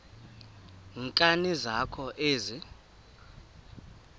nkani zakho ezi